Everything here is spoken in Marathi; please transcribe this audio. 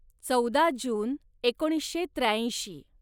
चौदा जून एकोणीसशे त्र्याऐंशी